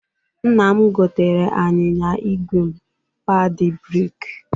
Nna m goteere anyịnya igwe m padị breeki.